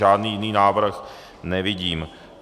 Žádný jiný návrh nevidím.